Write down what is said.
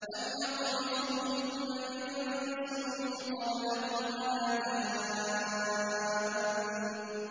لَمْ يَطْمِثْهُنَّ إِنسٌ قَبْلَهُمْ وَلَا جَانٌّ